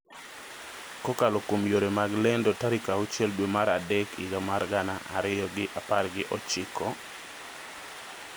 kokalo kuom yore mag lendo tarik auchiel dwe mar adek higa mar gana ariyo gi apar gi ochiko,